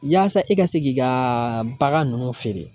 Yaasa i ka se k'i ka bagan nunnu feere.